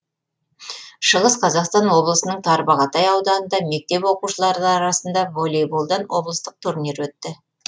шығыс қазақстан облысының тарбағатай ауданында мектеп оқушылары арасында волейболдан облыстық турнир өтті